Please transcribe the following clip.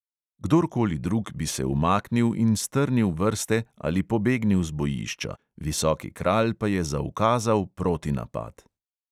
Kdor koli drug bi se umaknil in strnil vrste ali pobegnil z bojišča, visoki kralj pa je zaukazal protinapad.